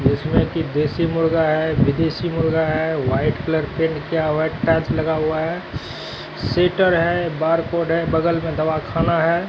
जिसमें कि देसी मुर्गा है विदेशी मुर्गा है वाइट कलर पेंट किया हुआ टच लगा हुआ है सीटर है बारकोड है बगल में दवा खाना है।